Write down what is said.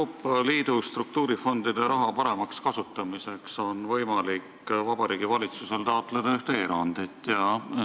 Euroopa Liidu struktuurifondide raha paremaks kasutamiseks on Vabariigi Valitsusel võimalik taotleda ühte erandit.